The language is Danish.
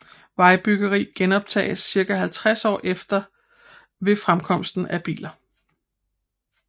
Vejbyggeri genoptages ca 50 år efter ved fremkomsten af biler